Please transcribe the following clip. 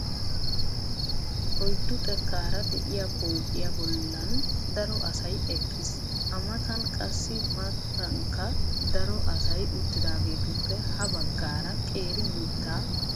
Oyddu xekkaara de'iyaa pooqiya bollan daro asay eqqis. A matan qassi maatankka daro asay uttidaagetuppe ha baggaara qeeri mittaa durumay de'ees.